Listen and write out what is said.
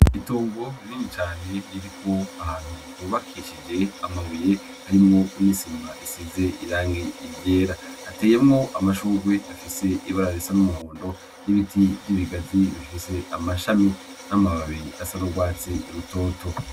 Itongo rinini cane riri ahantu hubakishije amabuye harimwo n'isima risize irangi ryera , hateyemwo amashurwe afise ibara risa n'umuhondo n'urwatsi n'ibiti vy'ibigazi bifise amashami n'amababi asa n'urwatsi rutoto.